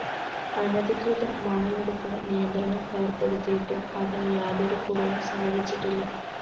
അനധികൃത മണലെടുപ്പിന് നിയന്ത്രണം ഏര്‍പ്പെടുത്തിയിട്ടും അതിന് യാതൊരു കുറവും സംഭവിച്ചിട്ടില്ല